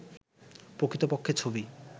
প্রকৃতপক্ষে ছবি